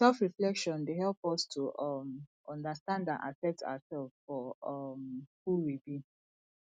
selfreflection dey help us to um understand and accept ourselves for um who we be